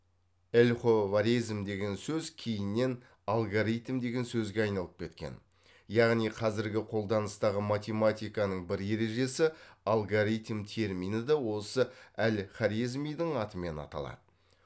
әлховарезм деген сөз кейіннен алгоритм деген сөзге айналып кеткен яғни қазіргі қолданыстағы математиканың бір ережесі алгоритм термині де осы әл хорезмидің атымен аталады